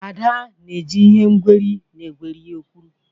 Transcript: Ada na-eji ihe ngweri na egweri okwuru.